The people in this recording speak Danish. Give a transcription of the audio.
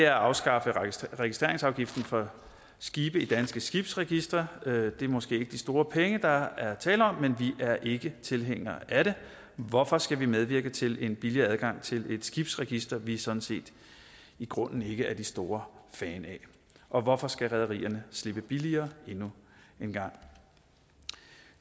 at afskaffe registreringsafgiften for skibe i danske skibsregistre det er måske ikke de store penge der er tale om men vi er ikke tilhængere af det hvorfor skal vi medvirke til en billigere adgang til et skibsregister vi sådan set i grunden ikke er den stor fan af og hvorfor skal rederierne slippe billigere endnu en gang